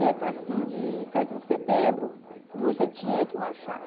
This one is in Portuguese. Tempo assim de sete de setembro, você tinha que marchar.